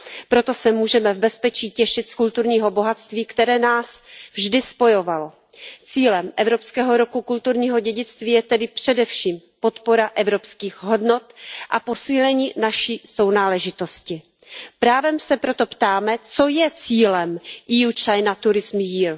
Proto se můžeme v bezpečí těšit z kulturního bohatství, které nás vždy spojovalo. Cílem Evropského roku kulturního dědictví je tedy především podpora evropských hodnot a posílení naši sounáležitosti. Právem se proto ptáme, co je cílem EU China turism year